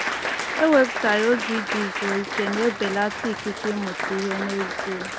Ewepụtaghị oge iji zuo ike na-ebelata ikike ịmụta ihe n’ezie.”